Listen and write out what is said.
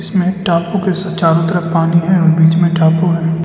इसमें एक टापू के स चारों तरफ पानी है बीच में टापू है।